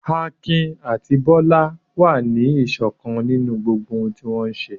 Akin àti Bólú wà ní ìṣọ̀kan nínú ohun gbogbo tí wọ́n bá ń ṣe.